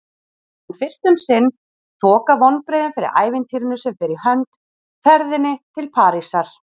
En fyrst um sinn þoka vonbrigðin fyrir ævintýrinu sem fer í hönd: ferðinni til Parísar.